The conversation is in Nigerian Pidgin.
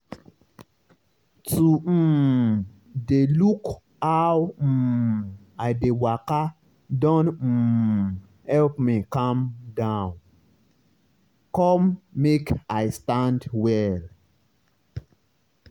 to um dey look how um i dey waka don um help me calm down come make i stand well.